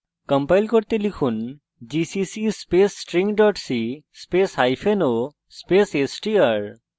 compile করতে লিখুন gcc space string c spaceo space str